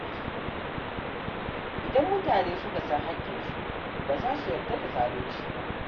Idan mutane suka san haƙƙinsu, ba za su yarda da zalunci ba.